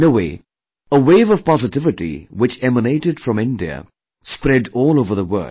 In a way, a wave of positivity which emanated from India spread all over the world